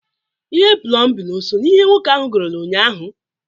Ihe plọmbịn o so n'ihe nwoke ahụ goolu nnyaa ahụ?